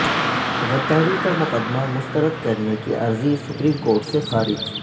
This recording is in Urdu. غداری کا مقدمہ مستردکرنے کی عرضی سپریم کورٹ سے خارج